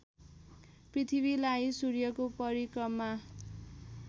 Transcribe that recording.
पृथ्वीलाई सूर्यको परिक्रमा